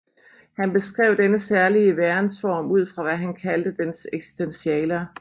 Han beskrev denne særlige værensform ud fra hvad han kaldte dens eksistentialer